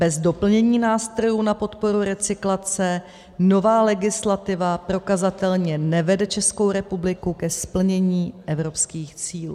Bez doplnění nástrojů na podporu recyklace nová legislativa prokazatelně nevede Českou republiku ke splnění evropských cílů.